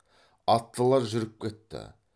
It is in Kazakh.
аттылар жүріп кетті